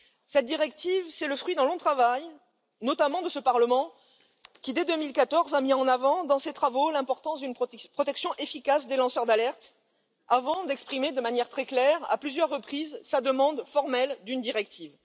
Cette directive est le fruit d'un long travail, notamment de ce Parlement, qui dès 2014 a mis en avant dans ses travaux l'importance d'une protection efficace des lanceurs d'alerte, avant d'exprimer de manière très claire, à plusieurs reprises, sa demande formelle de directive.